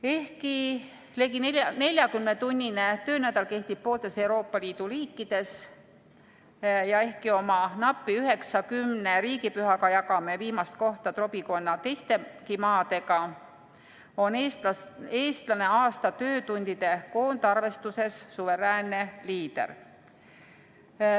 Ehkki ligi 40-tunnine töönädal kehtib pooltes Euroopa Liidu riikides ja ehkki oma napi 9–10 riigipühaga jagame viimast kohta trobikonna teistegi maadega, on eestlane aasta töötundide koondarvestuses suveräänne liider.